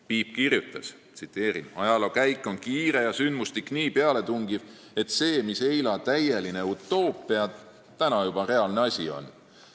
Piip kirjutas: "Ajaloo käik on kiire ja sündmustik nii pealetungiv, et see, mis eila täieline utopia, täna juba realne asi on.